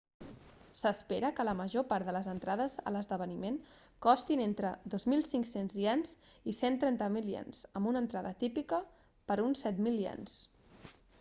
s'espera que la major part de les entrades a l'esdeveniment costin entre 2.500 ¥ i 130.000 ¥ amb una entrada típica per uns 7.000 ¥